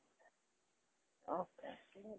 okay.